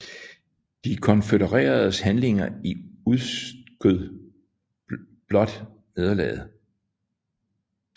De konfødereredes handlinger udskød blot nederlaget